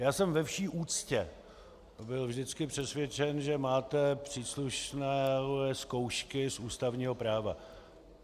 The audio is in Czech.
Já jsem ve vší úctě byl vždycky přesvědčen, že máte příslušné zkoušky z ústavního práva.